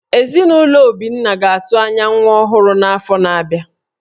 Ezinụlọ Obinna ga-atụ anya nwa ọhụrụ n’afọ na-abịa